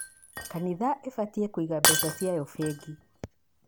Kanitha ĩbatiĩ kũiga mbeca ciayo bengi